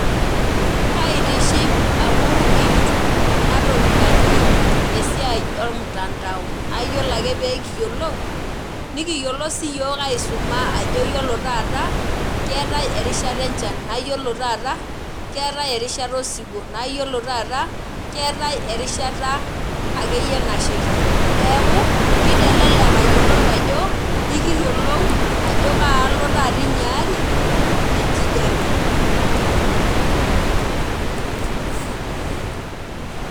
Kaitiship amu ikitum enatoki naji esiai omtandao. Na yiolo ake pekiyiolou, nikiyiolo siyiok aisuma ajo yiolo taata, keetae erishata enchan. Na yiolo taata, keetae erishata osiwuo. Na yiolo taata, keetae erishata akeyie nasheita. Neeku, kitelelek ayiolou ajo, ikiyiolou ajo kaalo taata inyaari, enkijape.